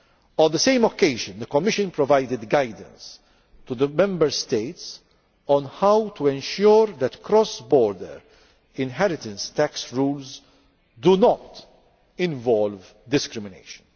On the same occasion the Commission provided guidance to the Member States on how to ensure that cross border inheritance tax rules do not involve discrimination.